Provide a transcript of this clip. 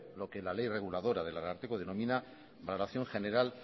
lo que la ley reguladora del ararteko denomina la dación general